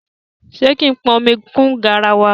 Ṣé kí n pọn omi kún garawa?